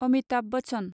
Amitabh Bachchan